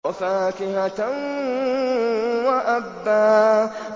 وَفَاكِهَةً وَأَبًّا